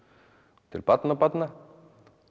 til barnabarna